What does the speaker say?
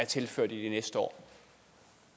tilført i de næste år